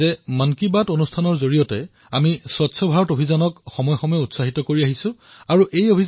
আমাৰ মন কী বাতে স্বচ্ছতা অভিযানক সময়ে সময়ে গতি প্ৰদান কৰি আহিছে আৰু এই ধৰণে স্বচ্ছতাৰ বাবে কৰা প্ৰয়াসেও মন কী বাতক সদায়েই উৎসাহিত কৰি আহিছে